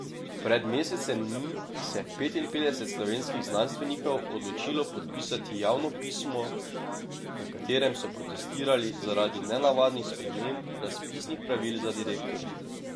Pred mesecem dni se je petinpetdeset slovenskih znanstvenikov odločilo podpisati javno pismo, v katerem so protestirali zaradi nenavadnih sprememb razpisnih pravil za direktorja.